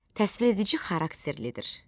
Təsviredici xarakterlidir.